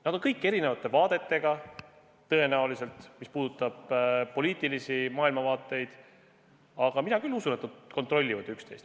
Nad on kõik erinevate vaadetega, mis puudutab poliitilist maailmavaadet, aga mina küll usun, et nad kontrollivad üksteist.